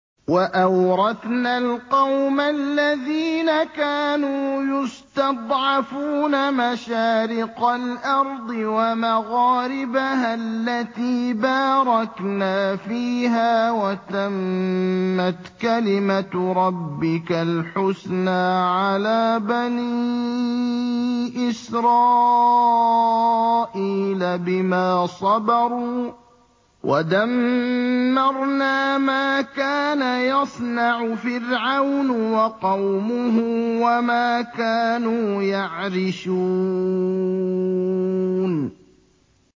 وَأَوْرَثْنَا الْقَوْمَ الَّذِينَ كَانُوا يُسْتَضْعَفُونَ مَشَارِقَ الْأَرْضِ وَمَغَارِبَهَا الَّتِي بَارَكْنَا فِيهَا ۖ وَتَمَّتْ كَلِمَتُ رَبِّكَ الْحُسْنَىٰ عَلَىٰ بَنِي إِسْرَائِيلَ بِمَا صَبَرُوا ۖ وَدَمَّرْنَا مَا كَانَ يَصْنَعُ فِرْعَوْنُ وَقَوْمُهُ وَمَا كَانُوا يَعْرِشُونَ